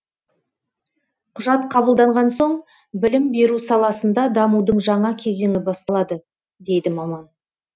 құжат қабылданған соң білім беру саласында дамудың жаңа кезеңі басталады дейді маман